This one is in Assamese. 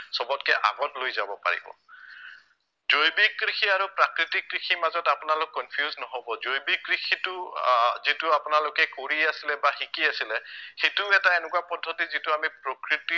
সৱতকে আগত লৈ যাব পাৰিব, জৈৱিক কৃষি আৰু প্ৰাকৃতিক কৃষিৰ মাজত আপোনালোক confused নহব, জৈৱিক কৃষিটো আহ যিটো আপোনালোকে কৰি আছিলে বা শিকি আছিলে সেইটো এটা এনেকুৱা পদ্ধতি যিটো আমি প্ৰকৃতি